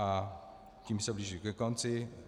A tím se blížím ke konci.